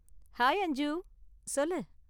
Hi Anju! சொல்லு